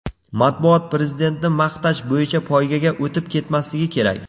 Matbuot Prezidentni maqtash bo‘yicha poygaga o‘tib ketmasligi kerak.